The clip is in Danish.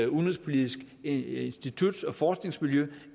udenrigspolitisk institut og forskningsmiljø